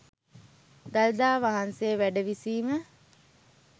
දළදා වහන්සේ වැඩ විසීම